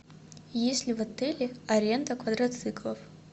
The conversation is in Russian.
есть ли в отеле аренда квадрациклов